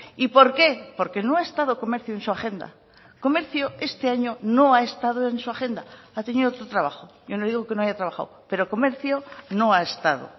y por qué porque no ha estado comercio en su agenda comercio este año no ha estado en su agenda ha tenido otro trabajo yo no digo que no haya trabajado pero comercio no ha estado